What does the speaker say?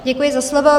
Děkuji za slovo.